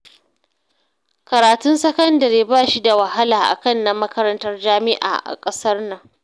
Karatun sakadare ba shi da wahala akan na makarantar jami'a a kasar nan